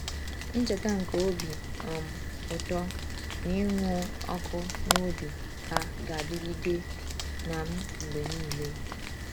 Ncheta nke obi um ụtọ na ịnụ ọkụ n’obi ha ga-adịgide na m mgbe niile.